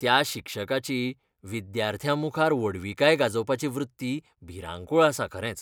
त्या शिक्षकाची विद्यार्थ्यांमुखार व्हडविकाय गाजोवपाची वृत्ती भिरांकूळ आसा खरेंच.